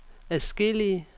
adskillige